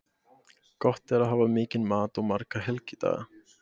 Gott er að hafa mikinn mat og marga helgidaga.